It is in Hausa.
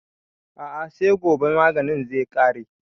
A'a sai gobe maganin zai ƙare